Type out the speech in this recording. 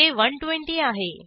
ते 120 आहे